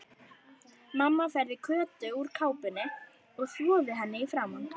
Mamma færði Kötu úr kápunni og þvoði henni í framan.